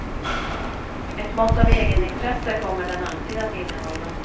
Ett mått av egenintresse kommer den alltid att innehålla.